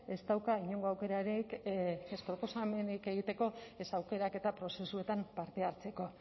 ez dauka inongo aukerarik ez proposamenik egiteko ez aukeraketa prozesuetan parte hartzeko